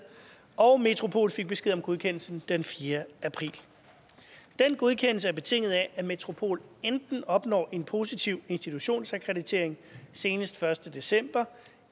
og metropol fik besked om godkendelsen den fjerde april den godkendelse er betinget af at metropol enten opnår en positiv institutionsakkreditering senest den første december